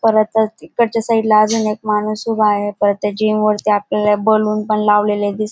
परत त्या इकडच्या साईड ला अजून एक माणूस उभा आहे परत त्या जिम वरती आपल्याला बलून पण लावलेले दिस --